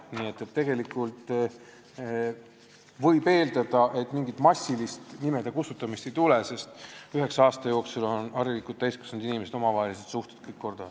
Nii et tegelikult võib eeldada, et mingit massilist nimede kustutamist ei tule, sest üheksa aasta jooksul ajavad harilikult täiskasvanud inimesed kõik omavahelised suhted korda.